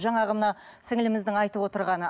жаңағы мына сіңліміздің айтып отырғаны